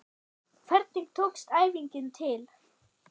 Hvernig tókst æfingin til?